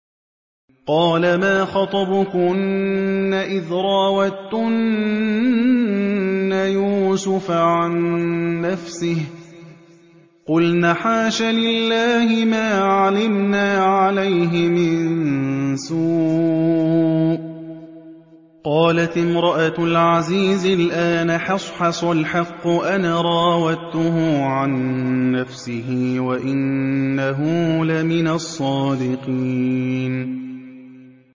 قَالَ مَا خَطْبُكُنَّ إِذْ رَاوَدتُّنَّ يُوسُفَ عَن نَّفْسِهِ ۚ قُلْنَ حَاشَ لِلَّهِ مَا عَلِمْنَا عَلَيْهِ مِن سُوءٍ ۚ قَالَتِ امْرَأَتُ الْعَزِيزِ الْآنَ حَصْحَصَ الْحَقُّ أَنَا رَاوَدتُّهُ عَن نَّفْسِهِ وَإِنَّهُ لَمِنَ الصَّادِقِينَ